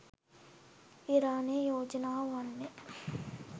ඉරානයේ යෝජනාව වන්නේ